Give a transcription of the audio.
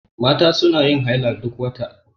Mata suna yin haila duk wata.